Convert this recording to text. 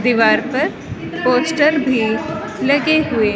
दीवार पर पोस्टर भी लगे हुए--